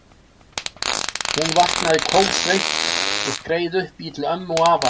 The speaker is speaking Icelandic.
Hún vaknaði kófsveitt og skreið upp í til ömmu og afa.